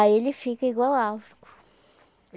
Aí ele fica igual álcool.